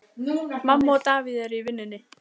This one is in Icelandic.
Mamma og Davíð eru í vinnunni.